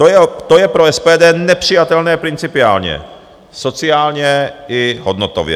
To je pro SPD nepřijatelné principiálně, sociálně i hodnotově.